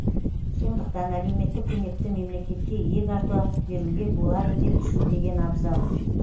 сондықтан әлеуметтік көмекті мемлекетке иек арта беруге болады деп түсінбеген абзал